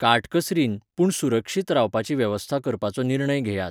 काटकसरीन, पूण सुरक्षीत, रावपाची वेवस्था करपाचो निर्णय घेयात.